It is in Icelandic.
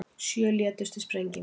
Sjö létust í sprengingu